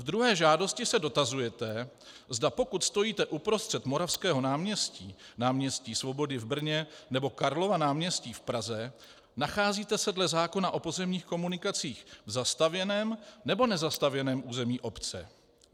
Ve druhé žádosti se dotazujete, zda pokud stojíte uprostřed Moravského náměstí, Náměstí Svobody v Brně, nebo Karlova náměstí v Praze, nacházíte se dle zákona o pozemních komunikacích v zastavěném nebo nezastavěném území obce.